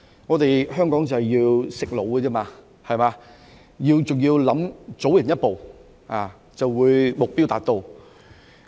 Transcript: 我們香港是要"食腦"，還要早人一步，就會目標達到。